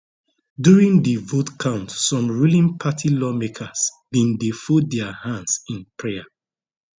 during di vote count some ruling party lawmakers bin dey fold dia hands in prayer